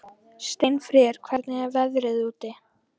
Steinfríður, hvernig er veðrið úti?